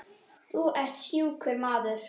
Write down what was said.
Þú ert sjúkur maður.